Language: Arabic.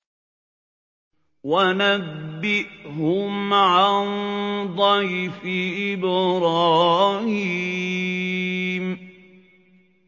وَنَبِّئْهُمْ عَن ضَيْفِ إِبْرَاهِيمَ